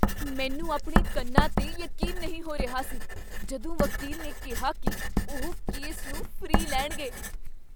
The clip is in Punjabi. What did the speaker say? ਮੈਂ ਆਪਣੇ ਕੰਨਾਂ 'ਤੇ ਯਕੀਨ ਨਹੀਂ ਹੋ ਰਿਹਾ ਸੀ, ਜਦੋਂ ਵਕੀਲ ਨੇ ਕਿਹਾ ਕੀ ਉਹ ਕੇਸ ਨੂੰ ਫ੍ਰੀ ਲੈਣਗੇ।